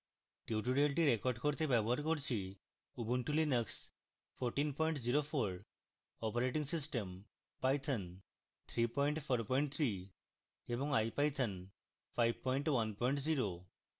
tutorial record করতে ব্যবহার করছি: উবুন্টু লিনাক্স 1404 অপারেটিং সিস্টেম